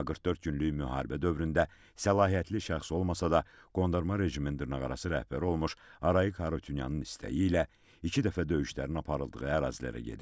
Amma 44 günlük müharibə dövründə səlahiyyətli şəxs olmasa da qondarma rejimin dırnaqarası rəhbəri olmuş Arayik Harutyunyanın istəyi ilə iki dəfə döyüşlərin aparıldığı ərazilərə gedib.